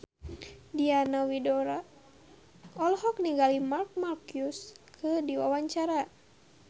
Diana Widoera olohok ningali Marc Marquez keur diwawancara